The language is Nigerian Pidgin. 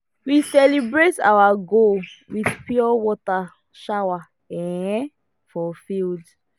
we celebrate our goal with pure water shower um for field